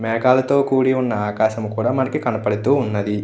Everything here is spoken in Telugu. మేఘాలతో కూడి ఉన్న ఆకాశము కూడా మనకి కనపడుతూ ఉన్నది.